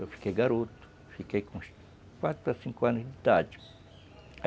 Eu fiquei garoto, fiquei com uns quatro ou cinco anos